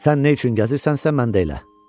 Sən nə üçün gəzirsənsə, mən də elə.